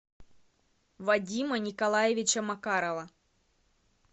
вадима николаевича макарова